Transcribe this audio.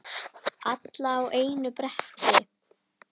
Alla á einu bretti.